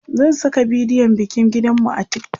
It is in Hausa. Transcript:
zan Saka bidiyon bikin gidan mu a TikTok